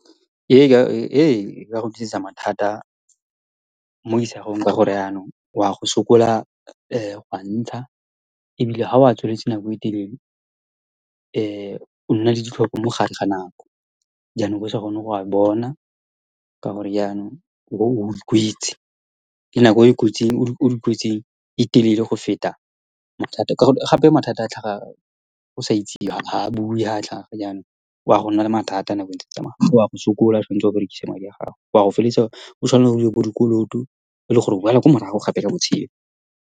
Ee, e ka go dirisa mathata mo isagweng ka gore yanong o a go sokola go a ntsha ebile ga o a tswaletse nako e telele nna le ditlhoko mo gare ga nako. Jaanong gone go a bona ka gore yanong o . Ke nako e e kotsi o le kotsing e telele go feta mathata ka gonne gape mathata a tlhaga go sa itsisiwe, ga a bue ga a tlhaga yanong o a go nna le mathata nabo ntse e tsamaya wa go sokola tshwanetse o berekise madi a gago o a go feleletsa e le gore o tshwanetse dire dikoloto e le gore o a go boela kwa morago gape ka botshelo.